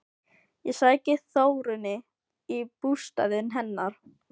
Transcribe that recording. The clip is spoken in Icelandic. Ég sæki Þórunni í bústaðinn hennar.